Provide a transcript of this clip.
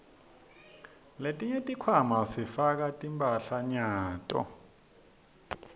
letinye tikhwama sifaka timphahlanyato